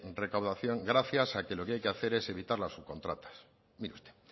recaudación gracias a que lo que hay que hacer es evitar la subcontratas mire usted